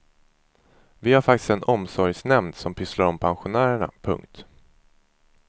Vi har faktiskt en omsorgsnämnd som pysslar om pensionärerna. punkt